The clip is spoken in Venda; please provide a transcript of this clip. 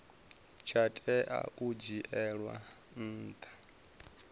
tsha tea u dzhielwa nha